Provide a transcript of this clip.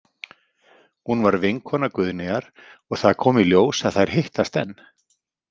Hún var vinkona Guðnýjar og það kom í ljós að þær hittast enn.